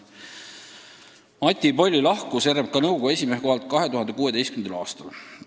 " Mati Polli lahkus RMK nõukogu esimehe kohalt 2016. aastal.